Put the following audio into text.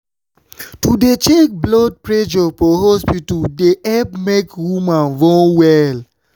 to dey check blood pressure for hospita dey epp make woman born welll